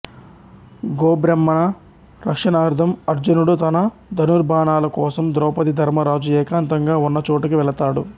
గోబ్రాహ్మణ రక్షణార్థం అర్జునుడు తన ధనుర్భాణాల కోసం ద్రౌపది ధర్మరాజు ఏకాంతంగా వున్న చోటుకి వెళతాడు